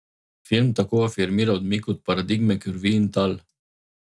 Film tako afirmira odmik od paradigme krvi in tal.